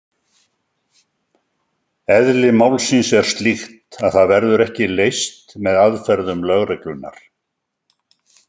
Eðli málsins er slíkt að það verður ekki leyst með aðferðum lögreglunnar.